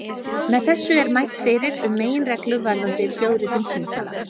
Með þessu er mælt fyrir um meginreglu varðandi hljóðritun símtala.